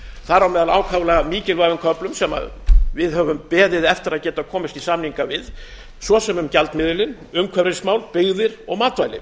þar á meðal ákaflega mikilvægum köflum sem við höfum beðið eftir að geta komist í samninga við svo sem um gjaldmiðilinn umhverfismál byggðir og matvæli